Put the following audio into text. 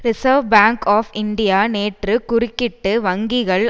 reserve bank of India நேற்று குறுக்கிட்டு வங்கிகள்